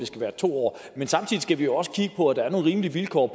skal være to år men samtidig skal vi også kigge på at der er nogle rimelige vilkår